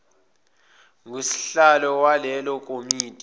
ngusihlalo walelo komiti